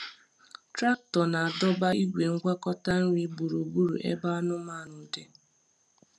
Traktọ na-adọba igwe ngwakọta nri gburugburu ebe anụmanụ dị.